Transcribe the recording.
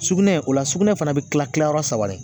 Sugunɛ o la sugunɛ fana bɛ kila kila yɔrɔ saba la